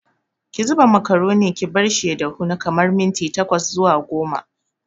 Ki zuba makaroni ki barshi ya dahu na kamar minti tkwas zuwa goma.